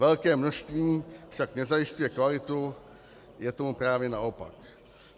Velké množství však nezajišťuje kvalitu, je tomu právě naopak.